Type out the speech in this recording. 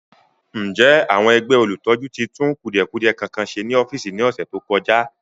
Ǹjẹ́ àwọn ẹgbẹ́ olùtọ́jú tí tún kùdìẹ̀kudie kankan ṣe ní ọ́fíìsì ní ọ̀sẹ̀ tó kọjá?